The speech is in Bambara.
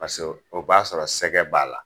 Paseke o b'a sɔrɔ sɛgɛ b'a la.